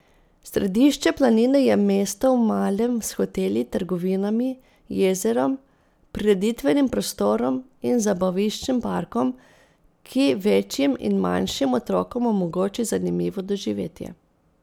Središče planine je mesto v malem s hoteli, trgovinami, jezerom, prireditvenim prostorom in zabaviščnim parkom, ki večjim in manjšim otrokom omogoči zanimivo doživetje.